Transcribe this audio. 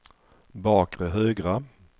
bakre högra